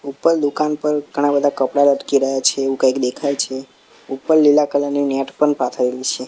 ઉપર દુકાન પર ઘણા-બધા કપડાં લટકી રહ્યા છે એવુ કંઈક દેખાય છે ઉપર લીલા કલર ની નેટ પણ પાથરેલી છે. "